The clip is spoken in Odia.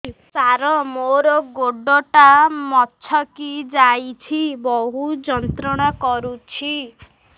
ସାର ମୋର ଗୋଡ ଟା ମଛକି ଯାଇଛି ବହୁତ ଯନ୍ତ୍ରଣା କରୁଛି